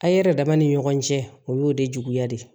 A' yɛrɛ dama ni ɲɔgɔn cɛ o y'o de juguya de ye